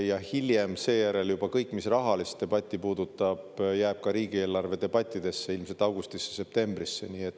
Ja hiljem seejärel juba kõik, mis rahalist debatti puudutab, jääb ka riigieelarve debattidesse, ilmselt augustisse-septembrisse.